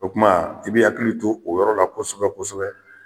O tumaa i b'i hakili to o yɔrɔ la kosɛbɛ-kosɛbɛ.